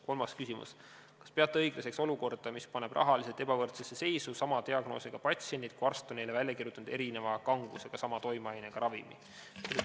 Kolmas küsimus: "Kas peate õiglaseks olukorda, mis paneb rahaliselt ebavõrdsesse seisu sama diagnoosiga patsiendid, kui arst on neile välja kirjutanud erineva kangusega sama toimeainega ravimi?